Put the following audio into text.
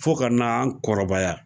Fɔ ka n'an kɔrɔbaya